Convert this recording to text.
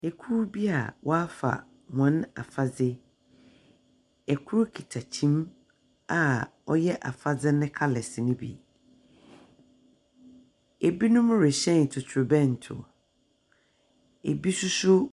Ekuw bi a wɔafa hɔn afadze. Kor kita kyin a wɔyɛ afadze no colours no bi. Ebinom rehyɛn totorobɛnto. Ebi nso so .